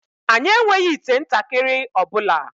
Anyị enweghị ite ntakịrị ọ bụla